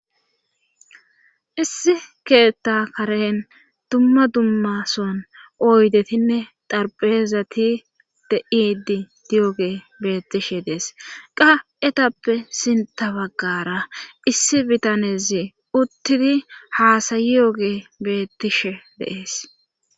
issi keetta karen dumma dummason oydetinne darpezati de'idi di7oge beettishe dees qa7etappe sinta baggara issi bitanezi uttidi haasayi yogee beettishe deees